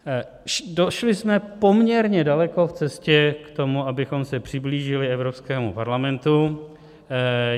Došli jsme poměrně daleko v cestě k tomu, abychom se přiblížili Evropskému parlamentu.